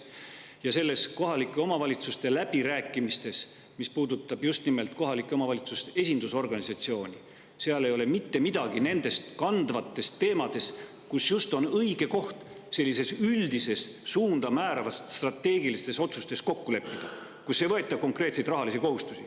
Kohalike omavalitsustega läbirääkimistel, mis puudutavad just nimelt kohalike omavalitsuste esindusorganisatsiooni, ei ole mitte midagi nendest kandvatest teemadest, kuigi see on just õige koht, kus sellistes üldist suunda määravates strateegilistes otsustes kokku leppida, seal ei võeta konkreetseid rahalisi kohustusi.